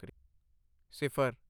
ਸਿਫਰ